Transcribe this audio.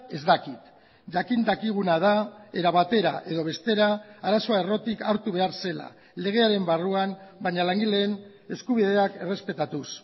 ez dakit jakin dakiguna da era batera edo bestera arazoa errotik hartu behar zela legearen barruan baina langileen eskubideak errespetatuz